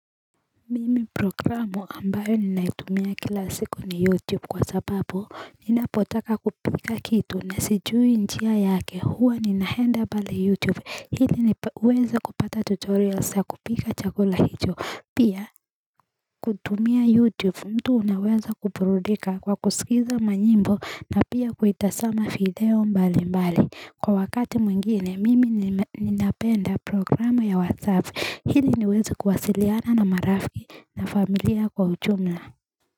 Mimi programu ambayo ninaitumia kila siku ni youtube kwa sababu ninapotaka kupika kitu na sijui njia yake huwa ninahenda pale youtube hili niweze kupata tutorials ya kupika chakula hicho pia kutumia youtube mtu anaweza kuburudika kwa kusikiza manyimbo na pia kuitasama video mbali mbali. Kwa wakati mwingine mimi nina ninapenda programu ya WhatsApp hili niwezi kuwasiliana na marafiki na familia kwa ujumla.